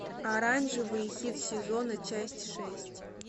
оранжевый хит сезона часть шесть